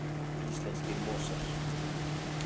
Íslenskir mosar.